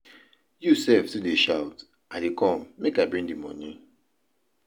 You sef too dey shout, I dey come make I bring the money.